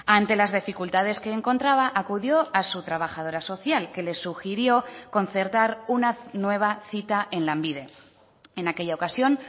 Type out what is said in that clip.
ante las dificultades que encontraba acudió a su trabajadora social que le sugirió concertar una nueva cita en lanbide en aquella ocasión